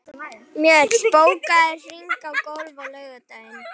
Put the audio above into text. Mjöll, bókaðu hring í golf á laugardaginn.